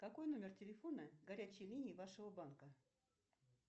какой номер телефона горячей линии вашего банка